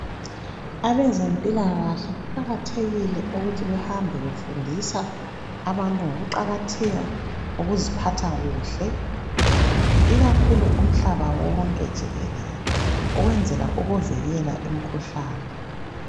Abezempilakahle kuqakathekile ukuthi behambe befundisa abantu ngokuqakatheka kokuziphatha kuhle ikakhulu umhlaba wonke jikelele ukwenzela ukuvikela umkhuhlane.